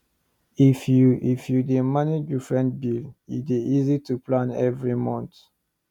if you if you dey manage different bill e dey easy to plan every month